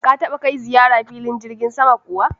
Ka taba kai ziyara filin jirgin sama kuwa?